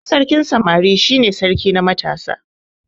Shi sarkin samari shi ne sarki na matasa.